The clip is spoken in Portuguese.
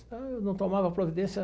Eu não tomava providência.